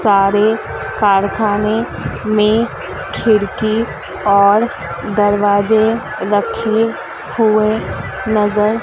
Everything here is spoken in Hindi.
सारे कारखाने में खिड़की और दरवाजे रखे हुए नजर--